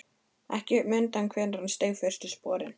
Ekki mundi hann hvenær hann steig fyrstu sporin.